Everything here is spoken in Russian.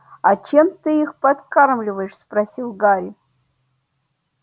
а чем ты их подкармливаешь спросил гарри